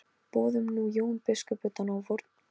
Boðum nú Jón biskup utan á vorn fund.